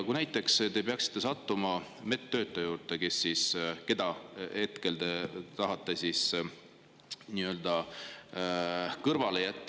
Kui te näiteks peaksite sattuma sellise medtöötaja juurde, kelle te tahate praegu nii-öelda ühiskonnast välja jätta …